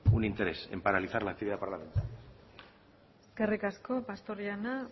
un interés en paralizar la actividad parlamentaria eskerrik asko pastor jauna